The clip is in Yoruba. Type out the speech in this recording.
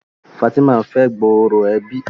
Fatima n'fe gbooro ẹbí.